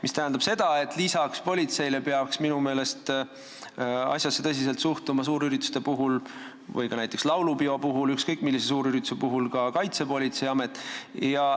Minu meelest peaks lisaks politseile suurürituste ajal – näiteks ka laulupeo või ükskõik millise suurürituse ajal – sellesse tõsiselt suhtuma ka Kaitsepolitseiamet.